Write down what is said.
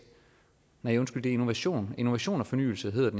nej undskyld det er innovation og innovation og fornyelse